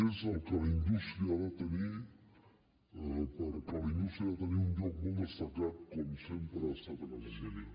és el que la indústria ha de tenir perquè la indústria ha de tenir un lloc molt destacat com sempre ha estat a catalunya